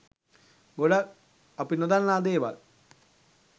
ගොඩක් අපි නොදන්නා දේවල්